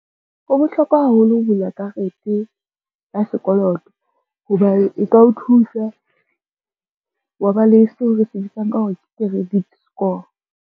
Ho bohlokwa haholo ho bula karete ya sekoloto, hobane e ka o thusa wa ba le seo re se bitsang ka hore ke credit score.